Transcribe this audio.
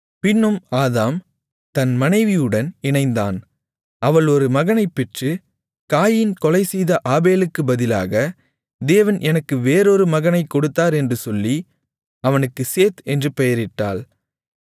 பின்னும் ஆதாம் தன் மனைவியுடன் இணைந்தான் அவள் ஒரு மகனைப் பெற்று காயீன் கொலைசெய்த ஆபேலுக்கு பதிலாக தேவன் எனக்கு வேறொரு மகனைக் கொடுத்தார் என்று சொல்லி அவனுக்கு சேத் என்று பெயரிட்டாள்